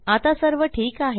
आता सर्व ठीक आहे